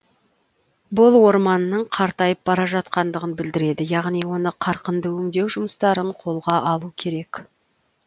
бұл орманның қартайып бара жатқандығын білдіреді яғни оны қарқынды өңдеу жұмыстарын қолға алу керек